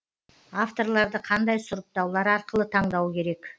авторларды қандай сұрыптаулар арқылы таңдау керек